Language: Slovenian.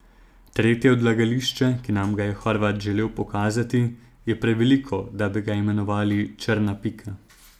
Tretje odlagališče, ki nam ga je Horvat želel pokazati, je preveliko, da bi ga imenovali črna pika.